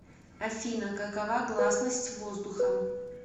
афина какова гласность воздухом